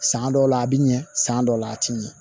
San dɔw la a bi ɲɛ san dɔw la a ti ɲɛ